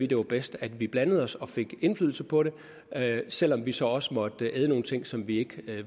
det var bedst at vi blandede os og fik indflydelse på det selv om vi så også måtte æde nogle ting som vi ikke